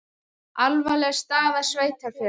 Alvarleg staða sveitarfélaga